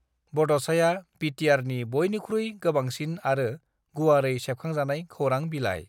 ब'ड'साया बीटीआरनि बयनिख्रुइ गोबांसिन आरो गुवारै सेबखांजानाय खौरां बिलाइ।